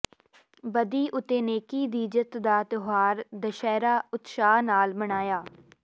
ਬਦੀ ਉਤੇ ਨੇਕੀ ਦੀ ਜਿੱਤ ਦਾ ਤਿਉਹਾਰ ਦਸਹਿਰਾ ਉਤਸ਼ਾਹ ਨਾਲ ਮਨਾਇਆ